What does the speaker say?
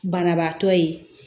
Banabaatɔ ye